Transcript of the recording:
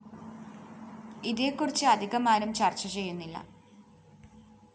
ഇതേക്കുറിച്ച് അധികമാരും ചര്‍ച്ച ചെയ്യുന്നില്ല